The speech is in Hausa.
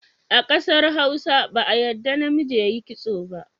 A ƙasar Hausa ba a yadda namiji ya yi kitso ba.